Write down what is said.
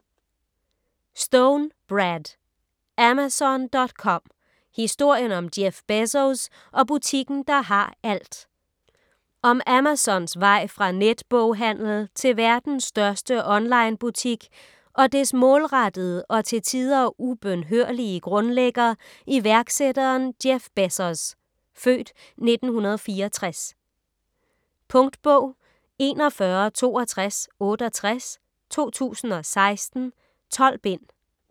Stone, Brad: Amazon.com: historien om Jeff Bezos og butikken der har alt Om Amazons vej fra netboghandel til verdens største onlinebutik og dets målrettede og til tider ubønhørlige grundlægger, iværksætteren Jeff Bezos (f. 1964). Punktbog 416268 2016. 12 bind.